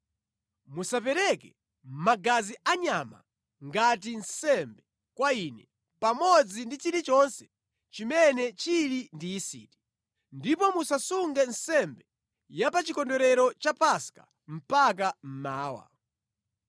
“Musapereke magazi anyama ngati nsembe kwa Ine pamodzi ndi chilichonse chimene chili ndi yisiti, ndipo musasunge nsembe ya pa Chikondwerero cha Paska mpaka mmawa.